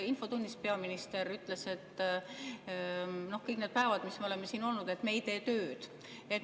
Infotunnis peaminister ütles, et kõik need päevad, mis me oleme siin olnud, ei ole me tööd teinud.